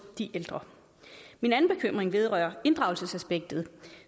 de ældre min anden bekymring vedrører inddragelsesaspektet